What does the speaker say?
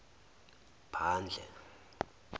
phandle